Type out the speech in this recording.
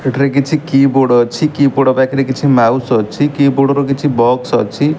ଏଠାରେ କିଛି କିବୋର୍ଡ଼ ଅଛି କିବୋର୍ଡ଼ ପାଖରେ କିଛି ମାଉସ୍ ଅଛି କିବୋର୍ଡ଼ ର କିଛି ବକ୍ସ ଅଛି।